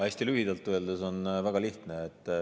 Hästi lühidalt öeldes on see väga lihtne.